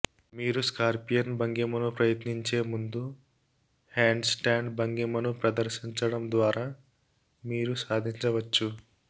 మీరు స్కార్పియన్ భంగిమను ప్రయత్నించే ముందు హ్యాండ్స్టాండ్ భంగిమను ప్రదర్శించడం ద్వారా మీరు సాధించవచ్చు